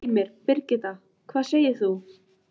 Heimir: Birgitta, hvað segir þú?